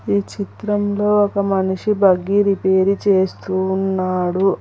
ఈ చిత్రంలో ఒక మనిషి బగ్గి రిపేరు చేస్తూ ఉన్నాడు.